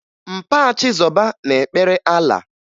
Mpa Chizọba na-ekpere Alaa